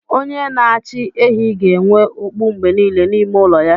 Onye n'achi ehi ga-enwe okpu mgbe niile n'ime ụlọ ya.